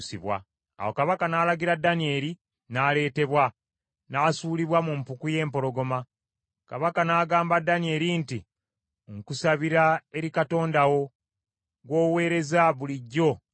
Awo kabaka n’alagira, Danyeri n’aleetebwa, n’asuulibwa mu mpuku y’empologoma. Kabaka n’agamba Danyeri nti, “Nkusabira eri Katonda wo, gw’oweereza bulijjo akulokole!”